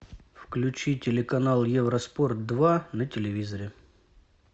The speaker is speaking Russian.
включи телеканал евроспорт два на телевизоре